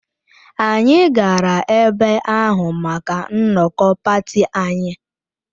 Anyị gara ebe ahụ maka nnọkọ pati anyị